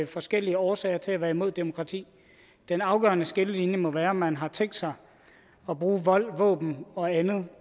forskellige årsager til at være imod demokrati den afgørende skillelinje må være om man har tænkt sig at bruge vold og våben og andet